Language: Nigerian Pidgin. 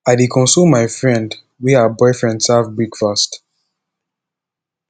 i dey console my friend wey her boyfriend serve breakfast